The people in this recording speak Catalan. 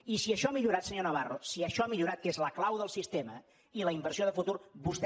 i si això ha millorat senyor navarro si això ha millorat que és la clau del sistema i la inversió de futur vostè